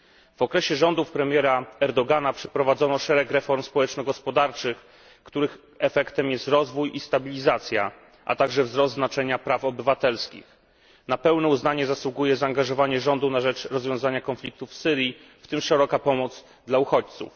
W okresie rządów premiera Erdogana przeprowadzono szereg reform społeczno gospodarczych, których efektem jest rozwój i stabilizacja, a także wzrost znaczenia praw obywatelskich. Na pełne uznanie zasługuje zaangażowanie rządu na rzecz rozwiązania konfliktu w Syrii, w tym szeroka pomoc dla uchodźców.